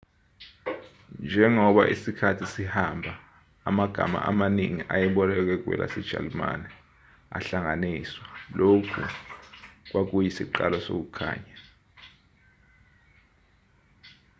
njengoba isikhathi sihamba amagama amaningi ayebolekwe kwelasejalimane ahlanganiswa lokhu kwakuyisiqalo sokukhanya